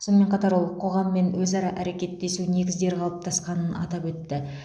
сонымен қатар ол қоғаммен өзара әрекеттесу негіздері қалыптасқанын атап өтті